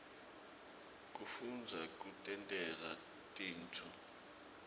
kufundza kutentela tintfo